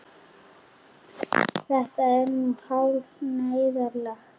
Þetta er nú hálf neyðarlegt.